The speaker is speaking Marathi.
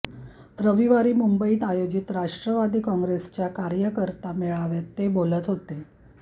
रविवारी मुंबईत आयोजित राष्ट्रवादी काँग्रेसच्या कार्यकर्ता मेळाव्यात ते बोलत होते